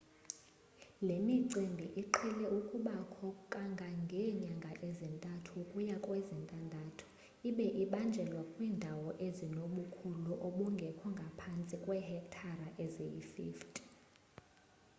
le micimbi iqhele ukubakho kangangeenyanga ezintathu ukuya kwezintandathu ibe ibanjelwa kwiindawo ezinobukhulu obungekho ngaphantsi kweehektare eziyi-50